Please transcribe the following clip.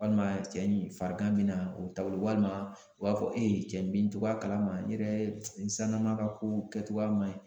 Walima cɛ in farigan bɛna o taabolo walima u b'a fɔ e ye cɛ n bɛ n cogoya kalama n yɛrɛ n sisannana ka kow kɛcogoya man ɲi